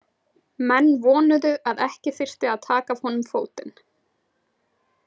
Menn vonuðu að ekki þyrfti að taka af honum fótinn.